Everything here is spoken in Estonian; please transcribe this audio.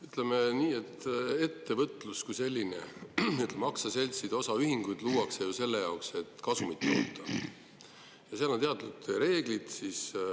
Ütleme nii, et ettevõtlus kui selline – aktsiaseltsid ja osaühingud – luuakse ju selleks, et kasumit toota, ja on teatud reeglid.